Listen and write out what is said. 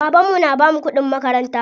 Baban mu na bamu kuɗin makaranta.